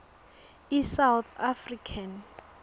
i south african